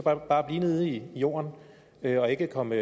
bare blive nede i jorden og ikke komme